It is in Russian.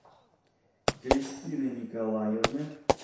кристины николаевны